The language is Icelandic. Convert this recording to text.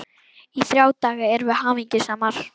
Í þrjá daga erum við hamingjusamar.